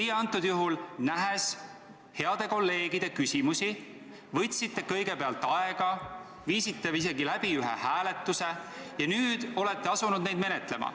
Teie praegusel juhul, nähes heade kolleegide küsimusi, võtsite kõigepealt aega, viisite läbi isegi ühe hääletuse ja alles nüüd olete asunud neid menetlema.